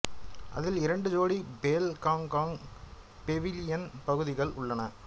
அதில் இரண்டு ஜோடி பேல் காங் காங் பெவிலியன் பகுதிகள் உள்ளன